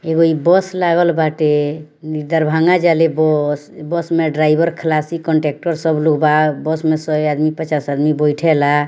एगो इ बस लागल बाटे इ दरभंगा जा ले बस बस में ड्राइवर खलासी कंडक्टर सब लोग बा बस में सय आदमी पचास आदमी बइठेला।